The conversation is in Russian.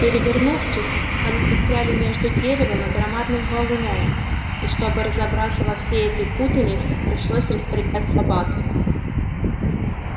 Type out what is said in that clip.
перевернувшись сани застряли между деревом и громадным валуном и чтобы разобраться во всей этой путанице пришлось распрягать собак